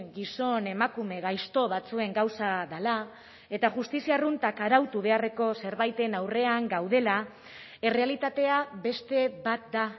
gizon emakume gaizto batzuen gauza dela eta justizia arruntak arautu beharreko zerbaiten aurrean gaudela errealitatea beste bat da